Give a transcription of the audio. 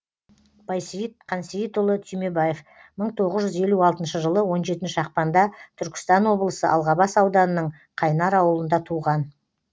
байсейіт қансейітұлы түймебаев мың тоғыз жүз елу алтыншы жылы он жетінші ақпанда түркістан облысы алғабас ауданының қайнар ауылында туған